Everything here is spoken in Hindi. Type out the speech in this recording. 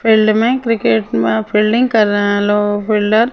फील्ड में क्रिकेट में फील्डिंग कर रहे हैं फील्डर .